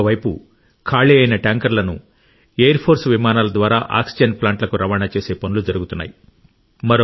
ఒక వైపు ఖాళీ అయిన ట్యాంకర్లను ఎయిర్ ఫోర్స్ విమానాల ద్వారా ఆక్సిజన్ ప్లాంట్లకు రవాణా చేసే పనులు జరుగుతున్నాయి